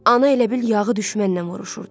Ana elə bil yağı düşmənlə vuruşurdu.